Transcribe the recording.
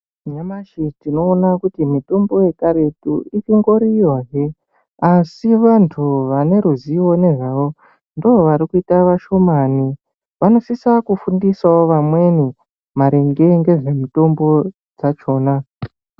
Nyamashi tinoona kuti mitombo yekaretu itongoriyohe asi vantu vane ruzivo nezvayo ndovarikuita vashomani. Vanosisa kufundisawo vamweni maringe ngezvemitombo dzachona.